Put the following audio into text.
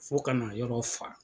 Fo ka na yɔrɔ fa.